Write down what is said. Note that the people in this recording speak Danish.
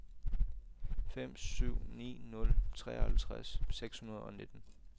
fem syv ni nul treoghalvtreds seks hundrede og nitten